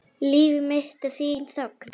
Líf mitt er þín þögn.